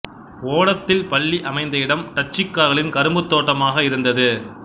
ஓடதில் பள்ளி அமைந்த இடம் டச்சுக்காரர்களின் கரும்பு தோட்டமாக இருந்தது